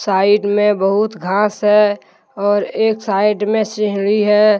Side में बहुत घास हैऔर एक साइड मे सिंहढी है।